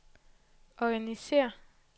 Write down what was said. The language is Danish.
organisér